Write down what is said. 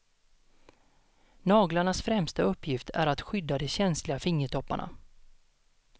Naglarnas främsta uppgift är att skydda de känsliga fingertopparna.